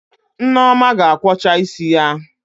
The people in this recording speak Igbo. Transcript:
Nneoma ga-akwọcha isi ya